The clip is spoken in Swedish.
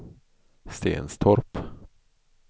Stenstorp